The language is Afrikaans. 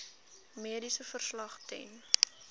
mediese verslag ten